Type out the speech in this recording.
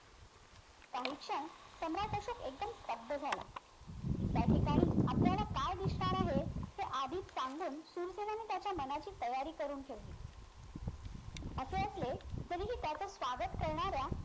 काही क्षण सम्राट अशोक एकदम स्तब्द झाला त्या ठिकाणी आपल्याला काय दिसणार आहे हे आधीच सांगून सुर्सेनाने त्याच्या मनाची तयारी करून ठेवली असे असले तरीही त्याचे स्वागत करणाऱ्या